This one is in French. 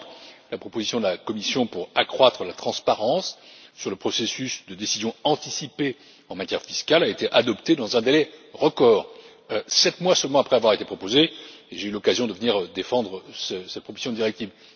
Par exemple, la proposition de la Commission pour accroître la transparence sur le processus de décision anticipée en matière fiscale a été adoptée dans un délai record, sept mois seulement après avoir été proposée, et j'ai eu l'occasion de venir défendre cette proposition de directive.